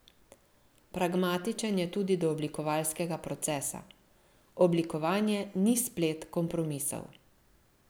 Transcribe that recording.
Pragmatičen je tudi do oblikovalskega procesa: "Oblikovanje ni splet kompromisov.